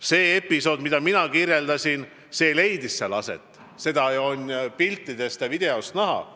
See episood, mida mina kirjeldasin, leidis seal aset – seda on ju piltidelt ja videost näha.